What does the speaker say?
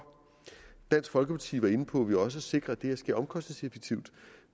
dansk folkeparti var inde på at vi også sikrer at det her sker omkostningseffektivt